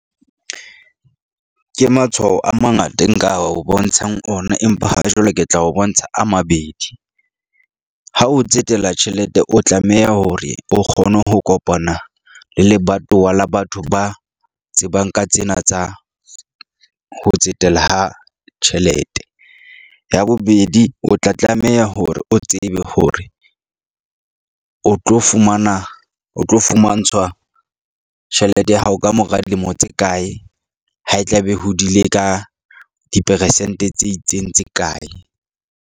Ke matshwao a mangata e nka o bontshang ona. Empa ha jwale ke tla o bontsha a mabedi. Ha o tsetela tjhelete o tlameha hore o kgone ho kopana le lebatowa la batho ba tsebang ka tsena tsa ho tsetela ha tjhelete. Ya bobedi, o tla tlameha hore o tsebe hore o tlo fumana o tlo fumantshwa tjhelete ya hao kamora dilemo tse kae, ha e tla be hodile ka diperesente tse itseng tse kae.